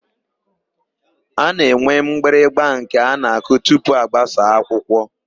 A na-enwe mgbịrịgba nke a na-akụ tupu agbasa akwụkwọ.